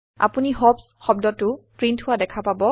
আপোনি হপছ শব্দটো প্ৰীন্ট হোৱা দেখা পাব